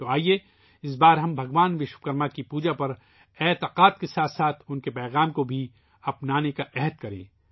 تو آئیے ، اس بار ہم ، بھگوان وشوکرما کی پوجا پر ، آستھا کے ساتھ ساتھ ، اُن کے پیغامات کو بھی اپنانے کا عہد کریں